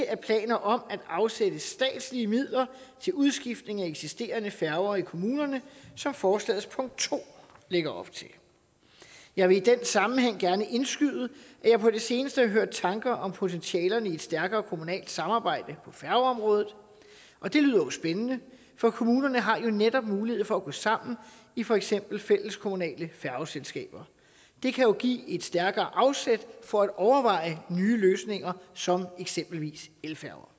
er planer om at afsætte statslige midler til udskiftning af eksisterende færger i kommunerne som forslagets punkt to lægger op til jeg vil i den sammenhæng gerne indskyde at jeg på det seneste har hørt tanker om potentialerne i et stærkere kommunalt samarbejde på færgeområdet og det lyder jo spændende for kommunerne har netop mulighed for at gå sammen i for eksempel fælleskommunale færgeselskaber det kan jo give et stærkere afsæt for at overveje nye løsninger som eksempelvis elfærger